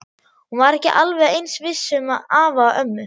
Hún var ekki alveg eins viss um afa og ömmu.